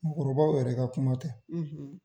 Mɔgɔkɔrɔbaw yɛrɛ ka kuma tɛ